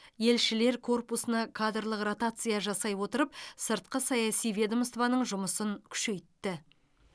елшілер корпусына кадрлық ротация жасай отырып сыртқы саяси ведомствоның жұмысын күшейтті